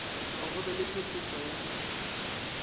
go be le phetošo ya